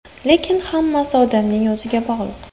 Lekin hammasi odamning o‘ziga bog‘liq.